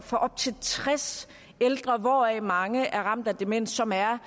for op til tres ældre hvoraf mange er ramt af demens som er